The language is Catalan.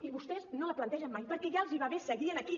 i vostès no la plantegen mai perquè ja els va bé seguir aquí